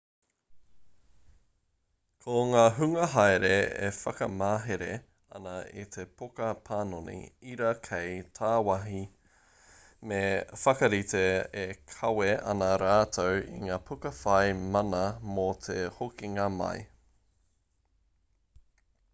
ko ngā hunga haere e whakamahere ana i te poka panoni ira kei tāwāhi me whakarite e kawe ana rātou i ngā puka whai mana mō te hokinga mai